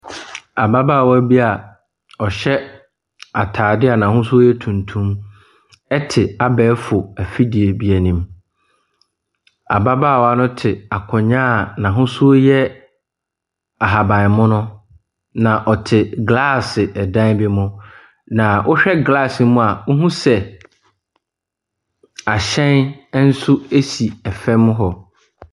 Ababaawa bi a ɔhyɛ ataadeɛ a n'ahosuo yɛ tuntum te abɛɛfo afidie bi anim. Ababaawa no te akonnwa a n'ahosuo yɛ ahabanmono. Na ɔte glass dan bi mu. Na wohwɛ glass no mu a wohu sɛ ahyɛn nso esi fam hɔ.